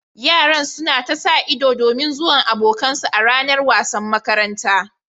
Yaran suna ta sa ido domin zuwan abokan su a ranar wasan makaranta